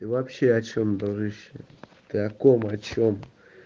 ты вообще о чем дружище ты о ком о чем